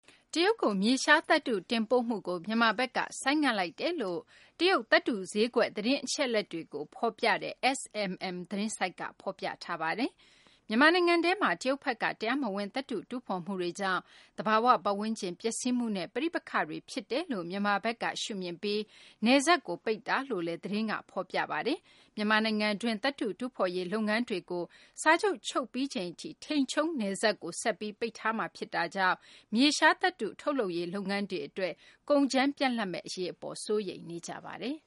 တရုတ်ကို မြေရှားသတ္တု တင်ပို့မှုကို မြန်မာဘက်က ဆိုင်းငံ့လိုက်တယ်လို့ တရုတ် သတ္တုဈေးကွက် သတင်းအချက်အလက်တွေကို ဖော်ပြတဲ့ SMM သတင်းဆိုက်က ဖော်ပြပါတယ်။ မြန်မာနိုင်ငံထဲမှာ တရုတ်ဘက်က တရားမဝင် သတ္တုတူးဖော်မူတွေကြောင့် သဘာ၀ ပတ်ဝန်းကျင် ပျက်စီးမှုနဲ့ ပဋိပက္ခတွေ ဖြစ်စေတယ်လို့ မြန်မာဘက်က ရှုမြင်ပြီး နယ်စပ်ကို ပိတ်လိုက်တာလို့လည်း သတင်းမှာ ဖော်ပြပါတယ်။ မြန်မာနိုင်ငံတွင်းက သတ္တုတူးဖော်ရေး လုပ်ငန်းတွေကို စာချုပ်ချုပ်ပြီးချိန်ထိ နယ်စပ်ကို ဆက်ပြီး ပိတ်ထားမှာ ဖြစ်တာကြောင့် မြေရှားသတ္တု ထုတ်လုပ်ရေး လုပ်ငန်းတွေ အတွက် ကုန်ကြမ်း ပြတ်လပ်မယ့် အရေးအပေါ် စိုးရိမ်နေကြပါတယ်